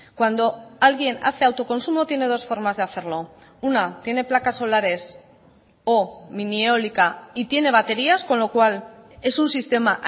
cuando alguien hace autoconsumo tiene dos formas de hacerlo una tiene placas solares o mini eólica y tiene baterías con lo cual es un sistema